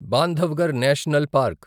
Bandhavgarh national park